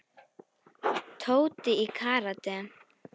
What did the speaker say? Tóti í karate.